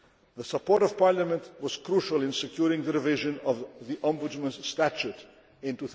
The support of Parliament was crucial in securing the revision of the Ombudsman's statute